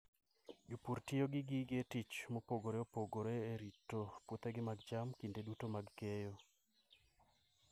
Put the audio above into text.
Jopur tiyo gi gige tich mopogore opogore e rito puothegi mag cham kinde duto mag keyo.